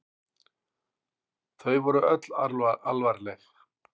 Þau voru öll alvarleg.